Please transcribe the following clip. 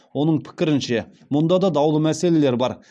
оның пікірінше мұнда да даулы мәселелер бар